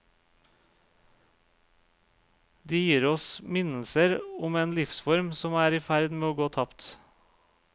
De gir oss minnelser om en livsform som er i ferd med å gå tapt.